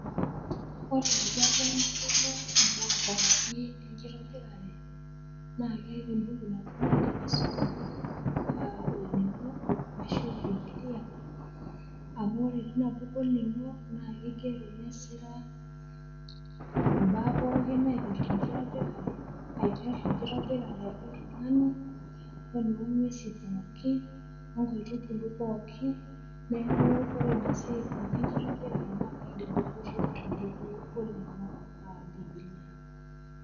Ore tenayieu nayolou imbaa pookin enkitobirare naa keata embuku naaji naidim aisoma aa olning'o ashu bibilia amu ore olning'o neigero nesira imaa pookin naipirta enkitobirare, neaku ore ina siai pookin naipirta enkitobirare naa kaidim ainoto te mbuku olning'o aa bibia.